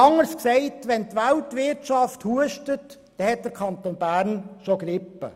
Oder anders gesagt: Wenn die Weltwirtschaft hustet, hat der Kanton Bern bereits eine Grippe.